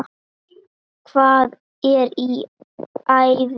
Hvað er í ævi?